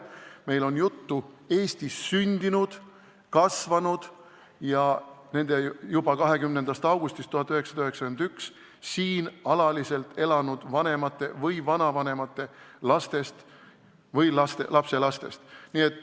Meil on jutt Eestis sündinud ja kasvanud lastest, juba 20. augustist 1991 siin alaliselt elanud inimeste lastest või lapselastest.